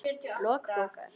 Lok bókar